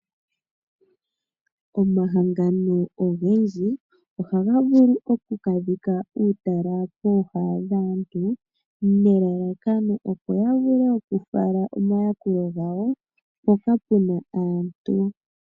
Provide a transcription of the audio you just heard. Omahangano ogendji ohaga vulu okuka dhika uutala pooha dhaantu nelalakano opo ya vule okufala omayakulo gawo mpoka pena aantu.